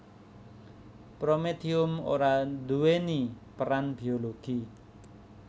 Prometium ora nduwèni peran biologi